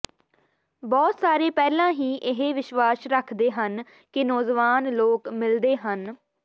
ਬਹੁਤ ਸਾਰੇ ਪਹਿਲਾਂ ਹੀ ਇਹ ਵਿਸ਼ਵਾਸ ਰੱਖਦੇ ਹਨ ਕਿ ਨੌਜਵਾਨ ਲੋਕ ਮਿਲਦੇ ਹਨ